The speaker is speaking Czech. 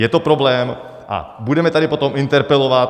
Je to problém a budeme tady potom interpelovat.